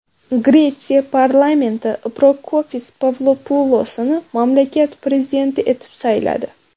Gretsiya parlamenti Prokopis Pavlopulosni mamlakat prezidenti etib sayladi.